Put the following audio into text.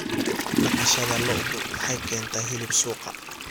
Dhaqashada lo'du waxay keentaa hilib suuqa.